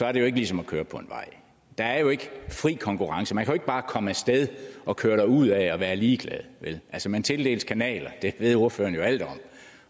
er det jo ikke ligesom at køre på en vej der er jo ikke fri konkurrence man kan jo ikke bare komme af sted og køre derudad og være ligeglad vel altså man tildeles kanaler det ved ordføreren jo alt om